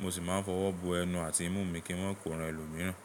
Mo sì máa ń fọwọ́ bo ẹnu àti imú mi kí wọ́n kó ran ẹlòmíràn.